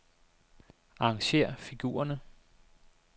Arrangér figurerne.